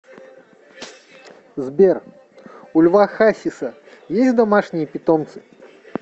сбер у льва хасиса есть домашние питомцы